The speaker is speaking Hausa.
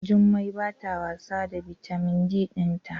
Jummai bata wasa da bitamin D dinta